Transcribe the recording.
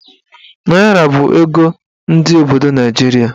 Naịra bụ ego ndị obodo Naijiria.